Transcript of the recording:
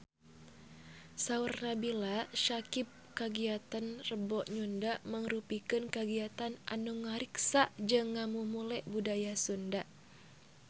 Saur Nabila Syakieb kagiatan Rebo Nyunda mangrupikeun kagiatan anu ngariksa jeung ngamumule budaya Sunda